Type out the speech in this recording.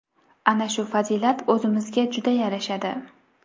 Ana shu fazilat o‘zimizga juda yarashadi.